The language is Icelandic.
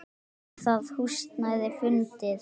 Nú er það húsnæði fundið.